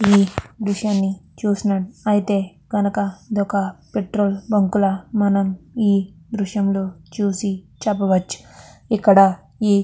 ఈ దృశ్యని చూసినట్ అయితే గనక ఇదొక పెట్రోల్ బంక్ అని మనం ఈ దృశ్యంలో చూసి చెప్పవచ్చు. ఇక్కడ ఈ--